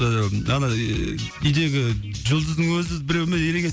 ыыы ана үйдегі жұлдыздың өзі біреумен ерегісіп